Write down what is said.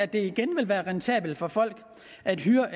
det igen vil være rentabelt for folk at hyre